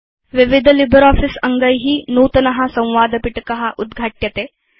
विविध लिब्रियोफिस अङ्गै नूतनं संवादपिटक उद्घाट्यते